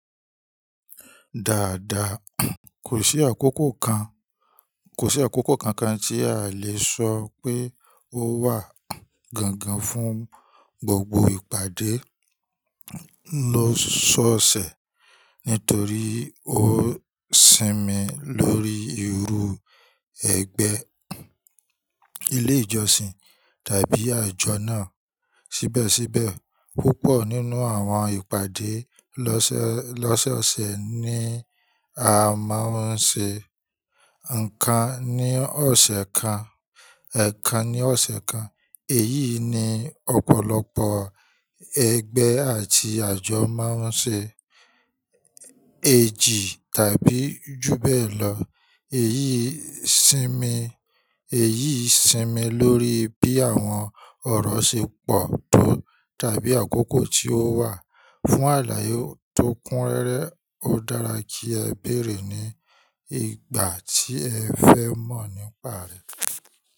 Dáadáa, kò sí àkókò kan, kò sí àkókò kankan tí a lè sọ pé ó wà gangan fún gbogbo ìpàdé lọ́sọ̀ọ̀sẹ̀ nítorí ó sinmi lórí irú ẹgbẹ́, ilé ìjọsìn tàbí àjọ náà. Síbẹ̀síbẹ̀, púpọ̀ nínú àwọn ìpàdé lọ́sọ̀ọ̀sẹ̀ ni a máa ń ṣe nǹkan ní ọ̀sẹ̀ kan, ẹ̀ kan ní ọ̀sẹ̀ kan. Èyí ni ọ̀pọ̀lọpọ̀ ẹgbẹ́ àti àjọ máa ń ṣe, èjì tàbí ju bẹ́ẹ̀ lọ. Èyí sinmi, èyí sinmi lórí bí àwọn ọ̀rọ̀ ṣe pọ̀ tó tàbí àkókò tí ó wà. Fún àlàyé tó kúnrẹ́rẹ́, ó dára kí ẹ béèrè ní ìgbà tí ẹ fẹ́ mọ̀ nípa rẹ̀.